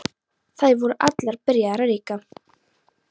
Þær voru allar byrjaðar að reykja.